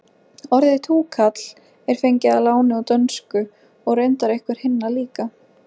orðið túkall er fengið að láni úr dönsku og reyndar einhver hinna líka